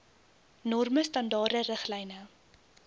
norme standaarde riglyne